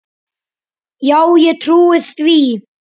Já, ég trúi því.